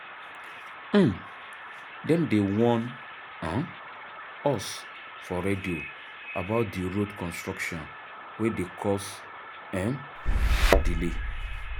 um Dem dey warn um us for radio about di road construction wey dey cause um delay.